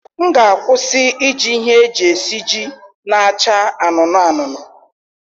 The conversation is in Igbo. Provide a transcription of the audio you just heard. M ga-akwụsị iji ihe eji esiji na-acha anụnụ anụnụ